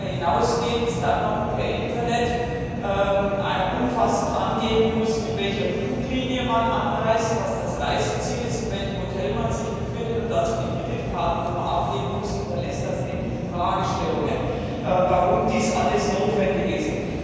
Wenn man darüber hinausgehend dann noch per Internet umfassend angeben muss, mit welcher Fluglinie man anreist, was das Reiseziel ist, in welchem Hotel man sich befindet, und dazu die Kreditkartennummer angeben muss, hinterlässt das etliche Fragestellungen, warum dies alles notwendig ist.